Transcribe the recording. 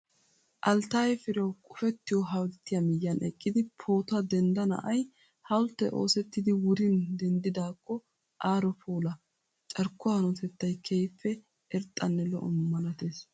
Alttaayye Firewu qofettiyoo hawulttiyaa miyyiyan eqqidi footuwaa dendda na'ayii hawulttee oossettidi wurin denddidaakko aaro puula. Carkkuwaa hanotettayi keehippe irxxanne lo'o malatees.